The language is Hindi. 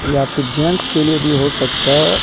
या फिर जेंट्स के लिए भी हो सकता है।